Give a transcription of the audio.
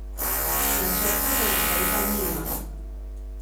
Načrtov za naprej pa nima.